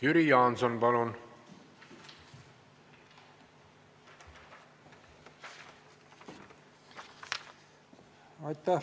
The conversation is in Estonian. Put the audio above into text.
Jüri Jaanson, palun!